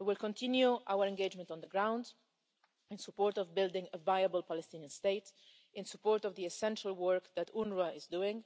We will continue our engagement on the ground in support of building a viable Palestinian state, in support of the essential work that UNRWA is doing,